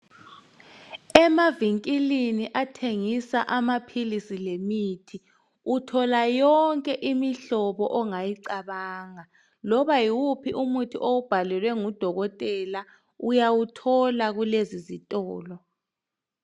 Emavinkilini athengisa amaphilisi lemithi uthola yonke imihlobo ongayicabanga, loba nguwuphi umuthi owubhalelwe ngudokotela uyawuthola kulezi zitolo.